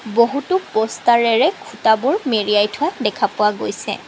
বহুতো পষ্টাৰেৰে খুঁটাবোৰ মেৰিয়াই থোৱা দেখা পোৱা গৈছে।